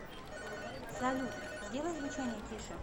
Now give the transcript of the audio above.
салют сделай звучание тише